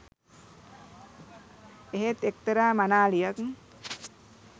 එහෙත් එක්තරා මනාලියක්